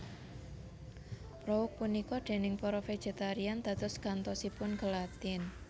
Prouk punika déning para vegetarian dados gantosipun gelatin